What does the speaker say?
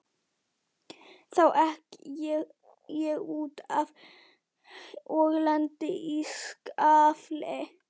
Þá ek ég út af og lendi í skafli.